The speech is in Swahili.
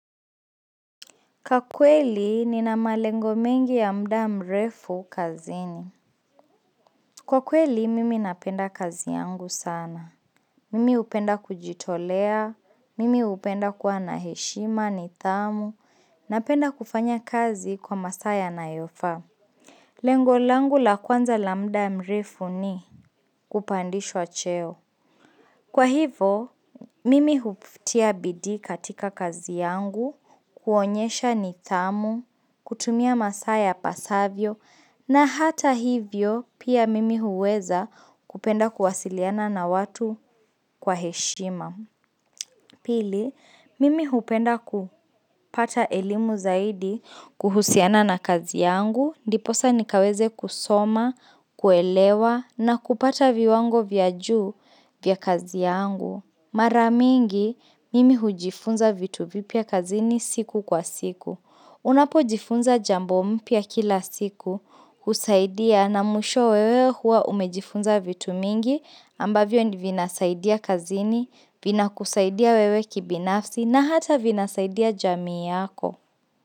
Kakweli, nina malengo mengi ya mda mrefu kazini. Kwa kweli, mimi napenda kazi yangu sana. Mimi upenda kujitolea, mimi upenda kwa na heshima, nidhamu, napenda kufanya kazi kwa masaya na yofaa. Lengolangu la kwanza lambda mrefu ni kupandishwa cheo. Kwa hivo, mimi huftia bidi katika kazi yangu, kuonyesha ni dhamu, kutumia masaya pasavyo, na hata hivyo pia mimi huweza kupenda kuwasiliana na watu kwa heshima. Pili, mimi hupenda kupata elimu zaidi kuhusiana na kazi yangu, ndiposa nikaweze kusoma, kuelewa na kupata viwango vya juu vya kazi yangu. Maramingi, mimi hujifunza vitu vipya kazini siku kwa siku. Unapo jifunza jambo mpya kila siku kusaidia na musho wewe hua umejifunza vitu mingi ambavyo ndivinasaidia kazini, vina kusaidia wewe kibinafsi na hata vinasaidia jamii yako.